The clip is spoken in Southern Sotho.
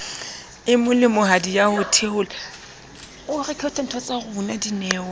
e molemohadi ya ho theola